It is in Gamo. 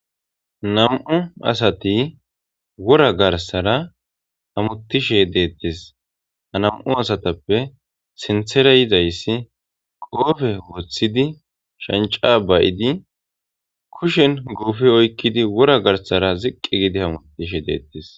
Nam7u asathi wora garssara hamoththishe deeththes; ha nam7u asathappe sinththera yizayssi qoophe woththidi shanccaa ba7idi kushen guufe oyqqidi wora garssara ziqqi gide hamoththishe deeththes.